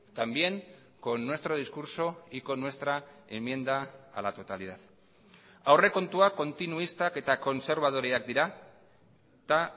también con nuestro discurso y con nuestra enmienda a la totalidad aurrekontuak kontinuistak eta kontserbadoreak dira eta